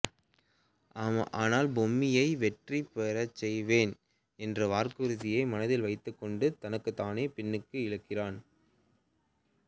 ஆனால் பொம்மியை வெற்றி பெறச்செய்வேன் என்ற வாக்குறுதியை மனதில் வைத்துக்கொண்டு தன்னைத்தானே பின்னுக்கு இழுக்கிறான்